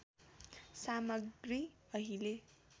सामग्री अहिले